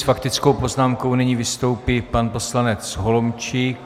S faktickou poznámkou nyní vystoupí pan poslanec Holomčík.